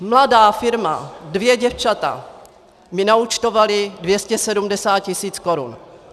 Mladá firma, dvě děvčata mi naúčtovala 270 tisíc korun.